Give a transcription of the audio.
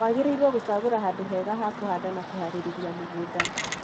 Wagĩrĩirwo gũcagũra handũ hega ha kũhanda na kũharĩrĩria mũgũnda.